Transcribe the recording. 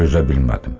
Dözə bilmədim.